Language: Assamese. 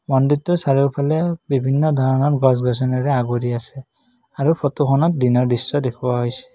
মন্দিৰটোৰ চাৰিওফালে বিভিন্ন ধৰণৰ গছ গছনিয়ে আবৰি আছে আৰু ফটোখনত দিনৰ দৃশ্য দেখুওৱা হৈছে।